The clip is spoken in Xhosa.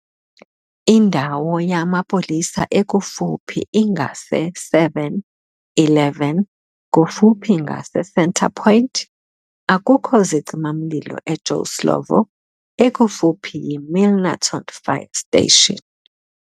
Indawo yamaPolisa ekufuphi ingase Seven Eleven kufuphi ngase Centre Point. akukho zicimamlilo e Joe Slovo, ekufuphi yiMilnerton Fire station.